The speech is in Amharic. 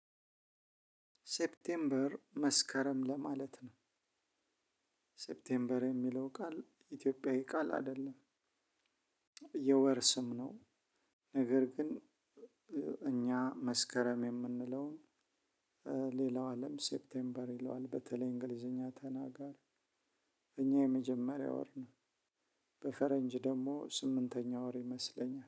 ሴፕቴምበር መስከረም ለማለት ነው። ሴፕቴምበር የሚለው ቃል ኢትዮጵያዊ ቃል አይደለም። የወር ስም ነው። ነገር ግን እኛ መስከረም የምንለውን ሌላው አለም ሴፕቴምበር ይለዋል በተለይ እንግሊዝኛ ተናጋር። የእኛ የመጀመሪያ ወር ነው። በፈረንጅ ደግሞ ስምንተኛ ወር ይመስለኛል